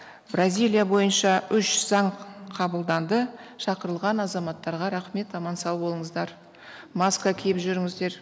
бразилия бойынша үш заң қабылданды шақырылған азаматтарға рахмет аман сау болыңыздар маска киіп жүріңіздер